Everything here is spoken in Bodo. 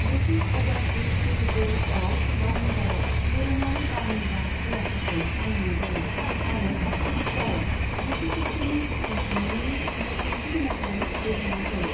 ब्रिटिश अ'भारसिस टेरिट'रि अफ बारमुडायाव, दोरोङारि बारमुडा सिलाफोरखौ बानायनाय जायो आरो ईस्टारआव जिसु खृस्ट'नि सिखांफिन्नायनि नेरसोनथि महरै बिरहोनाय जायो।